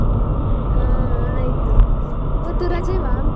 ಹಾ ಆಯ್ತು, ಇವತ್ತು ?